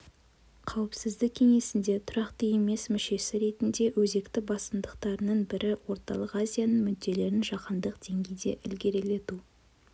қауіпсіздік кеңесінде тұрақты емес мүшесі ретінде өзекті басымдықтарының бірі орталық азияның мүдделерін жаһандық деңгейде ілгерілету